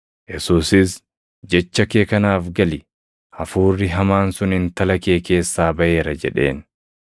Yesuusis, “Jecha kee kanaaf gali; hafuurri hamaan sun intala kee keessaa baʼeera” jedheen.